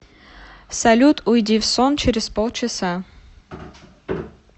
салют уйди в сон через полчаса